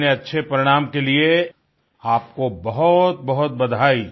इतने अच्छे परिणाम के लिए आपको बहुतबहुत बधाई